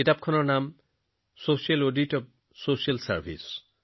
কিতাপখনৰ নামসামাজিক সেৱাৰ সামাজিক নিৰীক্ষণ